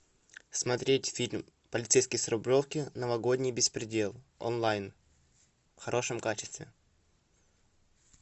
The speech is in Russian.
смотреть фильм полицейский с рублевки новогодний беспредел онлайн в хорошем качестве